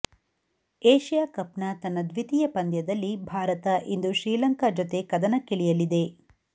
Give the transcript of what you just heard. Asia cup ನ ತನ್ನ ದ್ವಿತೀಯ ಪಂದ್ಯದಲ್ಲಿ ಭಾರತ ಇಂದು ಶ್ರೀಲಂಕಾ ಜತೆ ಕದನಕ್ಕಿಳಿಯಲಿದೆ